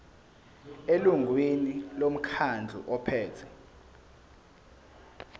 elungwini lomkhandlu ophethe